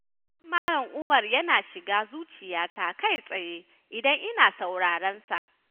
Wa'azin malam Umar yana shiga zuciyata kai tsaye, idan ina sauraronsa.